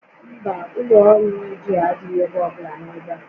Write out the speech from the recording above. Mba, ụlọ ọrụ redio adịghị ebe ọbụla n'ebe a